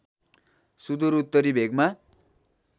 सुदूर उत्तरी भेगमा